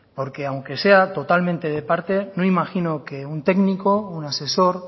porque aunque sea totalmente de parte no imagino que un técnico un asesor